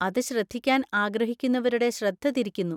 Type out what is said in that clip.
അത് ശ്രദ്ധിക്കാൻ ആഗ്രഹിക്കുന്നവരുടെ ശ്രദ്ധ തിരിക്കുന്നു.